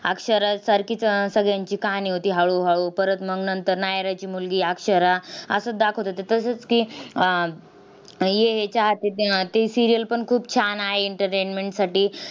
अक्षरासारखीच सगळ्यांची कहाणी होती हळूहळू. परत मग नंतर नायराची मुलगी अक्षरा असच दाखवत होते. तसंच की, अह ये हे चाहते है ती serial पण खूप छान आहे entertainment साठी.